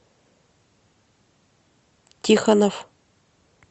тихонов